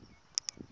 khombomuni